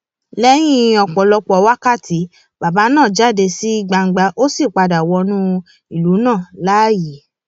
lẹyìn ọpọlọpọ wákàtí bàbà náà jáde sí gbangba ó sì padà wọnú ìlú náà láàyè